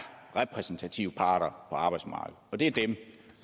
repræsentative parter på arbejdsmarkedet og det er dem